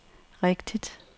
rigtigt